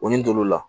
O ɲini la